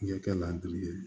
Ɲɛ kɛ ladiri ye